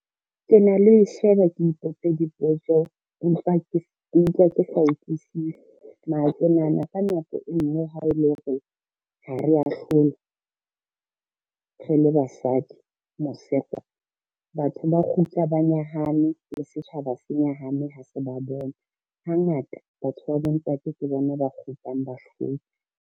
Ke na le ho e sheba ke ipotse dipotso empa ke utlwa ke sa utlwisisi mara ke nahana ka nako e ngwe ha e le hore ha re a hlola re le basadi mose kwa, batho ba kgutla ba nyahame le setjhaba se nyahame ha se ba bona. Hangata batho ba bontate ke bona ba kgutlang bahlotse.